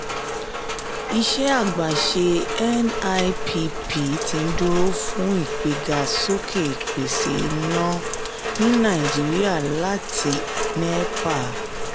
iṣẹ́ àgbéṣe nipp ti ń dúró fún ìgbéga sókè ìpèsè iná ní nàìjíríà láti nepa.